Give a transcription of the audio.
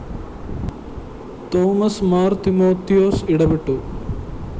Thomas Mar‍ Timothy ഇടപെട്ടു